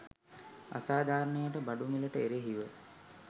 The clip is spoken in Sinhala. අසාධාරණයට බඩු මිලට එරෙහිව